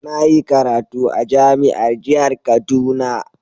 Na yi karatu a jami'ar jihar kaduna..